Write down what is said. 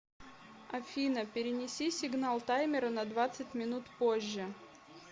афина перенеси сигнал таймера на двадцать минут позже